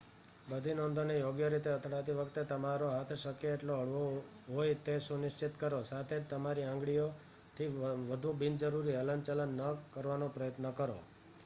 બધી નોંધોને યોગ્ય રીતે અથડાતી વખતે તમારો હાથ શક્ય તેટલો હળવો હોય તે સુનિશ્ચિત કરો સાથે જ તમારી આંગળીઓથી વધુ બિનજરૂરી હલનચલન ન કરવાનો પ્રયત્ન કરો